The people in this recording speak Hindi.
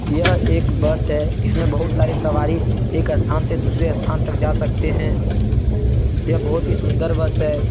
यह एक बस है। इसमें बहुत सारे सवारी एक स्थान से दूसरे स्थान तक जा सकते हैं। यह बहुत ही सुन्दर बस है।